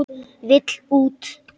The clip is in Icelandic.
Vill út.